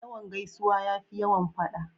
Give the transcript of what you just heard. Yawan gaisuwa ya fi yawan faɗa.